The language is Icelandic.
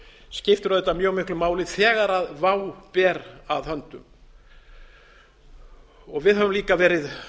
skiptir auðvitað mjög miklu máli þegar vá ber að höndum við höfum líka verið